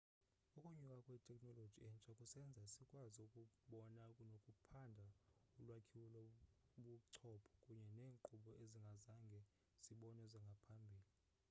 ukunyuka kwetekhnoloji entsha kusenza sikwazi ukubona nokuphanda ulwakhiwo lobuchopho kunye neenkqubo ezingazange zibonwe ngaphambili